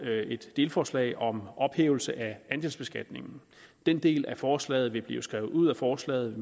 et delforslag om ophævelse af andelsbeskatningen den del af forslaget vil blive taget ud af forslaget